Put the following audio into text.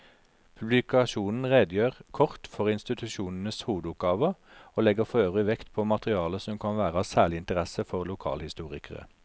Publikasjonen redegjør kort for institusjonenes hovedoppgaver og legger forøvrig vekt på materiale som kan være av særlig interesse for lokalhistorikere.